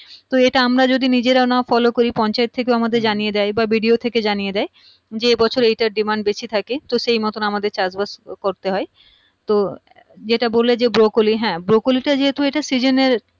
তো এইটা যদি আমরা নিজেরা না follow করি পঞ্চায়েত থেকে আমাদের জানিয়ে দেয় বা BDO থেকে জানিয়ে দেয় যে এইবছর এইটার demand বেশি থাকে তো সেই মতন আমাদের চাষবাস করতে হয় তো যেটা বললে যে broccoli হ্যাঁ broccoli টা যেহেতু এইটা season এর